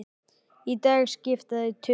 Í dag skipta þau tugum.